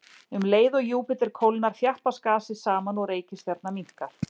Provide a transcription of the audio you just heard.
Um leið og Júpíter kólnar, þjappast gasið saman og reikistjarnan minnkar.